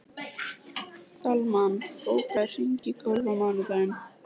Dalmann, bókaðu hring í golf á mánudaginn.